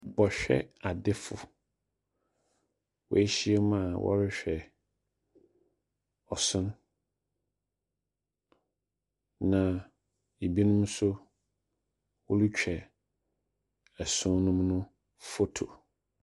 Bɛhwɛ adefo. Wahyiam a wɔrehwɛ ɔsono. Na ebinom nso wɔretwa ɛsono nom foto.